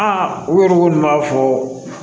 Aa u yɛrɛ ko nin b'a fɔ